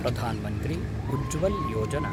Pradhan Mantri Ujjwala Yojana